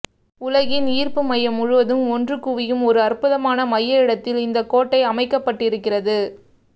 உலகின் ஈர்ப்பு மையம் முழுவதும் ஒன்று குவியும் ஒரு அற்புதமான மைய இடத்தில் இந்தக் கோட்டை அமைக்கப்பட்டிருக்கிறது